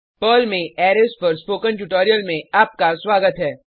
Perl में arrays पर spoken tutorial में आपका स्वागत है